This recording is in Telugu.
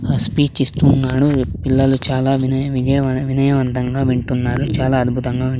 ఆ స్పీచ్ ఇస్తున్నాడు పిల్లలు చాలా వినయ విధేయవం వినయవంతంగా వింటున్నారు చాలా అద్భుతంగాఉ--